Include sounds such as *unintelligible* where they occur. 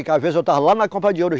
*unintelligible* Às vezes eu estava lá na *unintelligible* de ouro. *unintelligible*